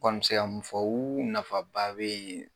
Kɔni me se ka mun fɔ nafaba bɛ yen